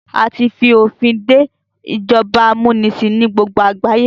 A tí fi òfin dé ìjọba amúnisìn ní gbogbo àgbáyé.